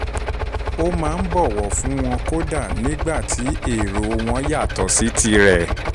ó máa ń bọ̀wọ̀ fún wọn kódà nígbà tí èrò wọn yàtọ̀ sí tirẹ̀